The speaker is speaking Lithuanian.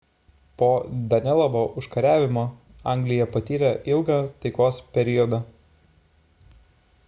po danelovo užkariavimo anglija patyrė ilgą taikos periodą